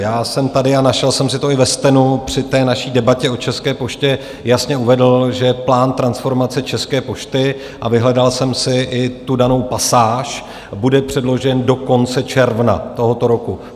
Já jsem tady, a našel jsem si to i ve stenu, při té naší debatě o České poště jasně uvedl, že plán transformace České pošty, a vyhledal jsem si i tu danou pasáž, bude předložen do konce června tohoto roku.